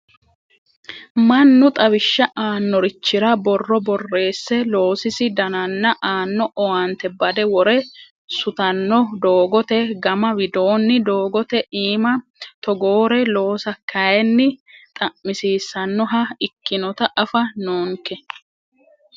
Mannu xawishsha aanorichira borro borreesse loosisi danana aano owaante bade wore sutano doogote gama widooni doogote iima togoore loossa kayinni xa'misiisanoha ikkinotta afa noonke.